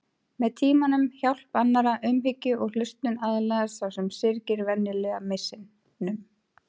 Með tímanum, hjálp annarra, umhyggju og hlustun aðlagast sá sem syrgir venjulega missinum.